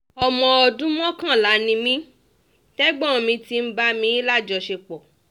ọmọ ọdún mọ́kànlá ni mí tí ẹ̀gbọ́n mi ti ń bá mi lájọṣepọ̀